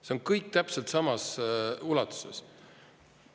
See on kõik täpselt samas ulatuses.